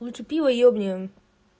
лучше пиво ёбнем